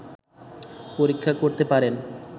পরীক্ষা করতে পারেন